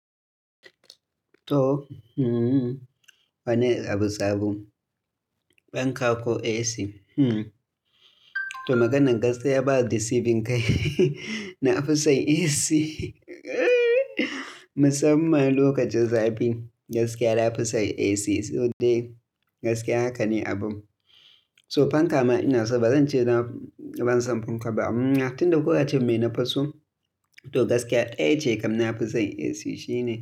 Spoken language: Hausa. To, hmm, wani abu sabo? Fanka ko AC? Hmm, to maganan gaskiya baya deceiving kai. Na fi son AC. Musamman lokacin zafi, gaskiya na fi son AC. So dai, gaskiya haka ne abun. So fanka ma ina so, bazan ce ban son fanka ba, amma tunda kun ce mai na fiso, to gaskiya ɗaya ce kam na fi son AC shine.